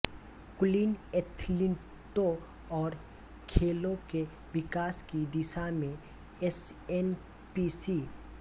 कुलीन एथलीटों और खेलों के विकास की दिशा में एसएनपीसी